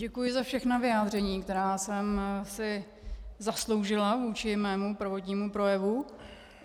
Děkuji za všechna vyjádření, která jsem si zasloužila vůči mému prvotnímu projevu.